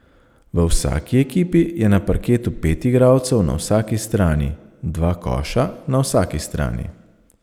V vsaki ekipi je na parketu pet igralcev na vsaki strani, dva koša na vsaki strani.